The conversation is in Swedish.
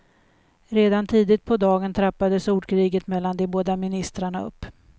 Redan tidigt på dagen trappades ordkriget mellan de båda ministrarna upp.